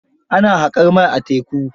Ana haƙar mai a teku.